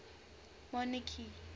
monarchy